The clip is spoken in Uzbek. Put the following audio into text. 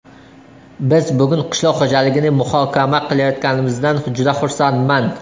Biz bugun qishloq xo‘jaligini muhokama qilayotganimizdan juda xursandman.